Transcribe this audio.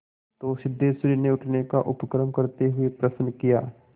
तो सिद्धेश्वरी ने उठने का उपक्रम करते हुए प्रश्न किया